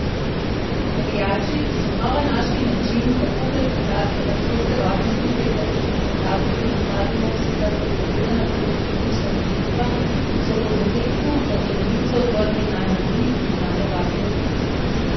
Navijači, ki so znova našli način, kako pretentati francoske varnostnike ter pretihotapiti na stadion sicer prepovedana pirotehnična sredstva, so po zadetku na zelenico odvrgli najmanj tri prižgane bakle.